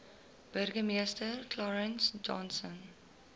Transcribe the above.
burgemeester clarence johnson